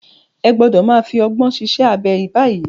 Ẹ gbọ́dọ̀ máa fi ọgbọ́n ṣiṣẹ́ abẹ báyìí.